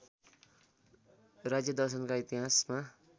राज्यदर्शनका इतिहासमा